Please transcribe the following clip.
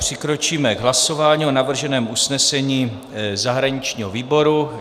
Přikročíme k hlasování o navrženém usnesení zahraničního výboru.